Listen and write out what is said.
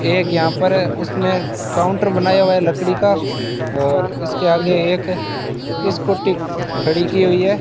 एक यहां पर उसमें काउंटर बनाया हुआ है लकड़ी का और इसके आगे एक स्कूटी खड़ी की हुई है।